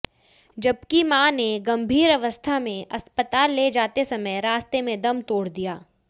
जबकि मां ने गंभीर अवस्था में अस्पताल ले जाते समय रास्ते में दम तोड़ दिया